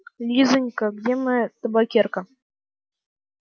лизанька где моя табакерка